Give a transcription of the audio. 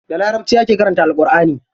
Da larabci ake karanta Alƙurʼani.